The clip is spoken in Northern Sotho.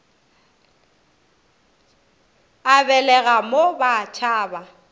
a belega mo ba tšhaba